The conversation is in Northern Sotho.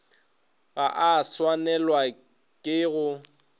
ga a swanelwa ke go